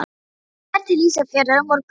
Þú ferð til Ísafjarðar á morgun.